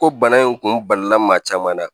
Ko bana in kun balila maa caman na